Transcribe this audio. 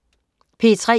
P3: